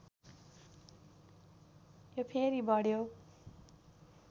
यो फेरि बढ्यो